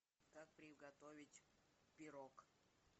как приготовить пирог